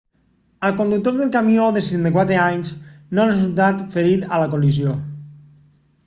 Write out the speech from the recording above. el conductor del camió de 64 anys no ha resultat ferit a la col·lisió